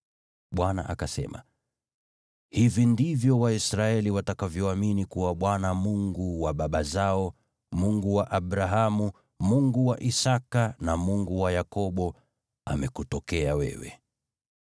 Bwana akasema, “Hivi ndivyo Waisraeli watakavyoamini kuwa Bwana , Mungu wa baba zao, Mungu wa Abrahamu, Mungu wa Isaki, na Mungu wa Yakobo, amekutokea wewe.”